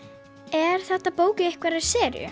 er þetta bók í einhverri seríu